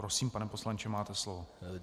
Prosím, pane poslanče, máte slovo.